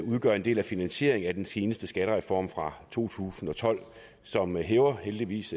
det udgør en del af finansieringen af den seneste skattereform fra to tusind og tolv som hæver heldigvis